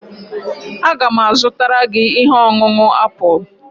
Aga m azụtara gị ihe ọṅụṅụ apụl